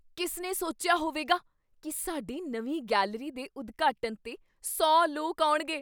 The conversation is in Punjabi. ਕਿਸ ਨੇ ਸੋਚਿਆ ਹੋਵੇਗਾ ਕੀ ਸਾਡੀ ਨਵੀਂ ਗੈਲਰੀ ਦੇ ਉਦਘਾਟਨ 'ਤੇ ਸੌ ਲੋਕ ਆਉਣਗੇ ?